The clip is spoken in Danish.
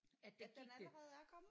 At den allerede er kommet?